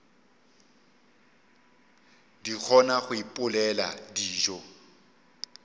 di kgona go ipopela dijo